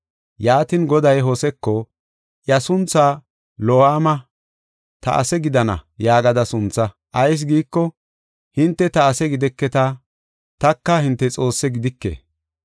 Yaatin, Goday Hoseko, “Iya sunthaa Lo7aama (Ta ase gidenna) yaagada suntha. Ayis giiko, hinte ta ase gideketa; taka hinte Xoosse gidike.